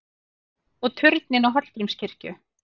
Og turninn á Hallgrímskirkju!